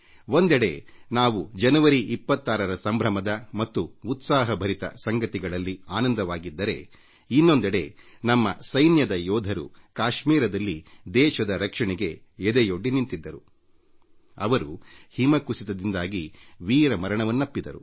ನಾವೆಲ್ಲರೂ ಜನವರಿ 26 ರಂದು ಸಂಭ್ರಮದ ಮತ್ತು ಉತ್ಸಾಹಭರಿತ ಸಂಗತಿಗಳಲ್ಲಿ ಆನಂದವಾಗಿದ್ದರೆ ಕಾಶ್ಮೀರದಲ್ಲಿ ದೇಶದ ರಕ್ಷಣೆಗೆ ನಿಯುಕ್ತಿಗೊಂಡಿದ್ದ ನಮ್ಮ ಸೇನೆಯ ಕೆಲವು ಯೋಧರು ಹಿಮಕುಸಿತದಿಂದಾಗಿ ಹುತಾತ್ಮರಾಗಿದ್ದಾರೆ